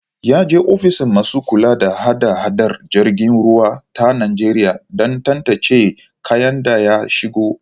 Ya je ofishin masu kula da hada-hadar jiragen ruwa ta Nijeriya dan tantance kayan da ya shigo